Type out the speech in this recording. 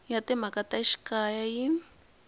ya timhaka ta xikaya yi